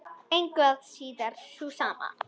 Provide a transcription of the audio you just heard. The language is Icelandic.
Engu að síður sú sama.